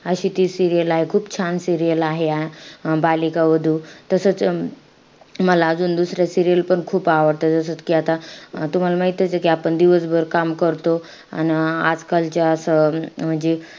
अशी ती serial आहे. खूप छान serial आहे. अं बालिका वधू. तसंच अं मला अजून दुसऱ्या serial पण खूप आवडतात. जसत कि आता तुम्हाला माहितचे कि आपण दिवसभर काम करतो अन आजकालच्या असं अं म्हणजे